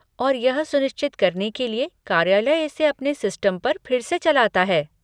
और यह सुनिश्चित करने के लिए कार्यालय इसे अपने सिस्टम पर फिर से चलाता है।